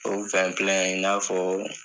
O wɛn pilɛn in in'a fɔ